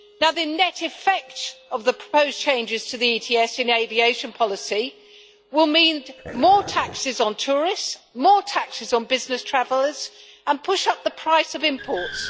The net effect of the proposed changes to the ETS in aviation policy will mean more taxes on tourists, more taxes on business travellers, and it will push up the price of imports.